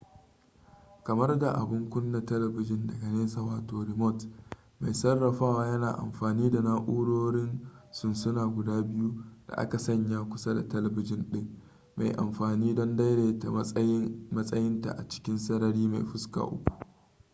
kamar da abun kuna talabijin daga nesa wato remote mai sarrafawa yana amfani da na'urorin sunsuna guda biyu da aka sanya kusa da talabijin ɗin mai amfani don daidaita matsayinta a cikin sarari mai fuska uku